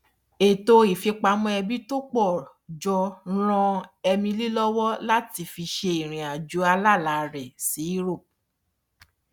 ètò ìfipamọ ẹbí pọ jọ ràn emily lọwọ láti fi ṣe irinàjò alálà rẹ sí europe